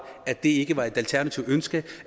at det ikke var et alternativt ønske